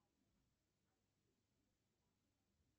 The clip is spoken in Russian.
сбер включай канал тв три